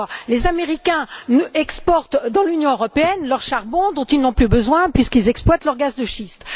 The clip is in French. Les Américains exportent dans l'Union européenne leur charbon, dont ils n'ont plus besoin, puisqu'ils exploitent leur gaz de schiste.